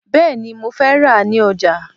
Bẹ́ẹ̀ni, mo fẹ́ rà á ní ọjà